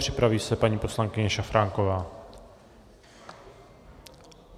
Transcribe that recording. Připraví se paní poslankyně Šafránková.